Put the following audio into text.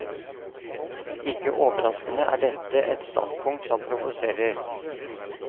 Ikke overraskende er dette et standpunkt som provoserer.